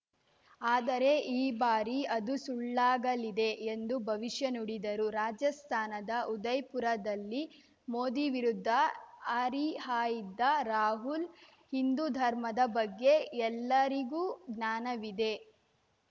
ಆದರೆ ಈ ಬಾರಿ ಅದು ಸುಳ್ಳಾಗಲಿದೆ ಎಂದು ಭವಿಷ್ಯ ನುಡಿದರು ರಾಜಸ್ಥಾನದ ಉದಯ್‌ಪುರದಲ್ಲಿ ಮೋದಿ ವಿರುದ್ಧ ಹರಿಹಾಯ್ದ ರಾಹುಲ್‌ ಹಿಂದು ಧರ್ಮದ ಬಗ್ಗೆ ಎಲ್ಲರಿಗೂ ಜ್ಞಾನವಿದೆ